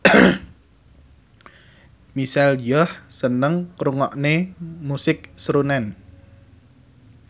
Michelle Yeoh seneng ngrungokne musik srunen